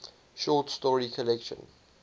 short story collection